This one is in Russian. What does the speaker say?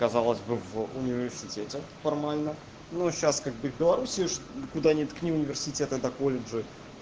казалось бы в университете формально ну сейчас как бы и в белоруссии куда не ткни университеты да колледжи